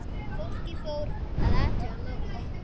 Fólkið fór að athuga málið.